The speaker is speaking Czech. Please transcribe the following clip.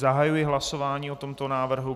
Zahajuji hlasování o tomto návrhu.